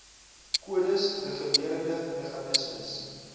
kodes regulerende meganismes